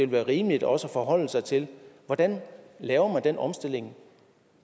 være rimeligt også at forholde sig til hvordan man laver den omstilling